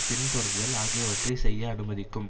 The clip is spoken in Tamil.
பின்தொடர்தல் ஆகியவற்றை செய்ய அனுமதிக்கும்